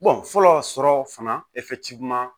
fɔlɔ sɔrɔ fana